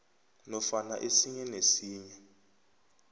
nofana esinye nesinye